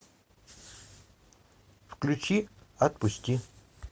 включи отпусти